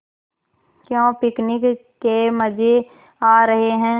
क्यों पिकनिक के मज़े आ रहे हैं